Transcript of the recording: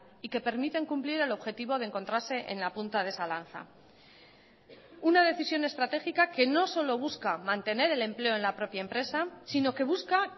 y que permiten cumplir el objetivo de encontrarse en la punta de esa lanza una decisión estratégica que no solo busca mantener el empleo en la propia empresa sino que busca